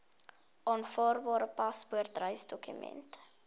aanvaarbare paspoort reisdokument